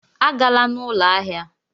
Agala na ụlọ ahịa!